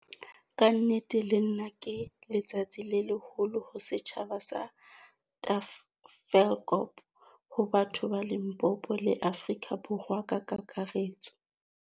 Ka nnete lena ke letsatsi le leholo ho setjhaba sa Ta-felkop, ho batho ba Limpopo, le Afrika Borwa ka kakaretso.